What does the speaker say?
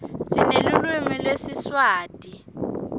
sinelulwimi lesiswati